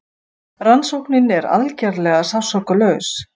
Rannsóknin er algerlega sársaukalaus.